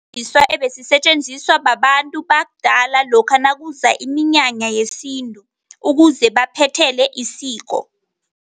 Ebesisetjenziswa babantu bakudala lokha nakuza iminyanya yesintu ukuze baphethele isiko.